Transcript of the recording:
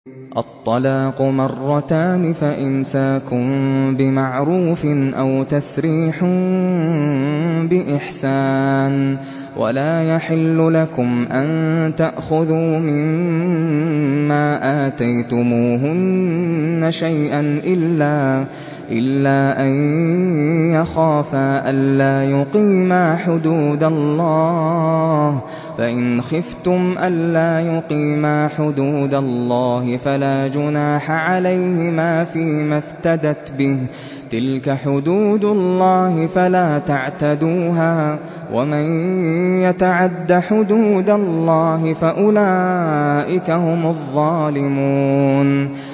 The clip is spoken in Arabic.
الطَّلَاقُ مَرَّتَانِ ۖ فَإِمْسَاكٌ بِمَعْرُوفٍ أَوْ تَسْرِيحٌ بِإِحْسَانٍ ۗ وَلَا يَحِلُّ لَكُمْ أَن تَأْخُذُوا مِمَّا آتَيْتُمُوهُنَّ شَيْئًا إِلَّا أَن يَخَافَا أَلَّا يُقِيمَا حُدُودَ اللَّهِ ۖ فَإِنْ خِفْتُمْ أَلَّا يُقِيمَا حُدُودَ اللَّهِ فَلَا جُنَاحَ عَلَيْهِمَا فِيمَا افْتَدَتْ بِهِ ۗ تِلْكَ حُدُودُ اللَّهِ فَلَا تَعْتَدُوهَا ۚ وَمَن يَتَعَدَّ حُدُودَ اللَّهِ فَأُولَٰئِكَ هُمُ الظَّالِمُونَ